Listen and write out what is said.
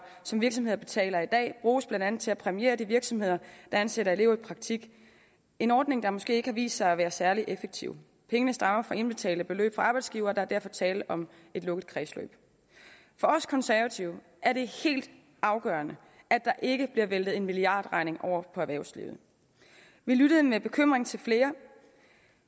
som virksomheder betaler i dag bruges blandt andet til at præmiere de virksomheder der ansætter elever i praktik en ordning der måske ikke har vist sig at være særlig effektiv pengene stammer fra indbetalte beløb fra arbejdsgivere og der er derfor tale om et lukket kredsløb for os konservative er det helt afgørende at der ikke bliver væltet en milliardregning over på erhvervslivet vi lyttede med bekymring til flere